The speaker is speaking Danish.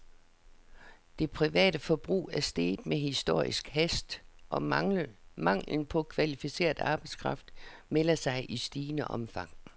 Det private forbrug er steget med historisk hast, og manglen på kvalificeret arbejdskraft melder sig i stigende omfang.